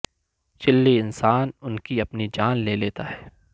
چلی انسان ان کی اپنی جان لے لیتا ہے